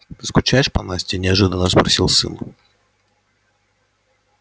ты скучаешь по насте неожиданно спросил сын